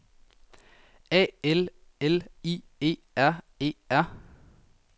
A L L I E R E R